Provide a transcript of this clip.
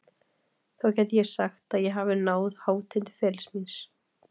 Þá gæti ég sagt að ég hafi náð hátind ferilsins míns.